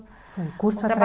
Foi curso